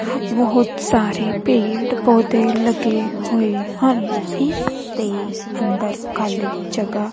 ਬੋਹੁਤ ਸਾਰੇ ਪੇੜ ਪੌਧੇ ਲੱਗੇ ਹੋਏ ਹਨ ਇੱਸ ਦੇ ਅੰਦਰ ਖਾਲੀ ਜਗਾਹ--